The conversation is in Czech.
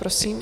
Prosím